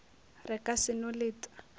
re ka se no leta